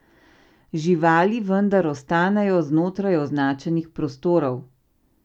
Živali vendar ostanejo znotraj označenih prostorov.